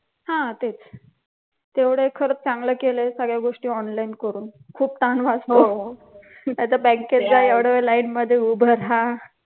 हा तेच. तेवढ एक खरंच खूप सगळ्या गोष्टी online करून ताण वाचतो. नाही तर बँकेत जा एवढा वेळ line मध्ये उभे रहा